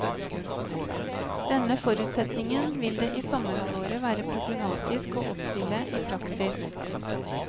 Denne forutsetningen vil det i sommerhalvåret være problematisk å oppfylle i praksis.